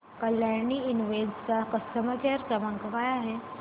Kalyani invest चा customer care क्रमांक काय आहे